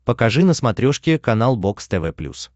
покажи на смотрешке канал бокс тв плюс